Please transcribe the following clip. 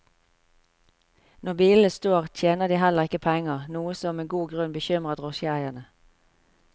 Når bilene står, tjener de heller ikke penger, noe som med god grunn bekymrer drosjeeiere.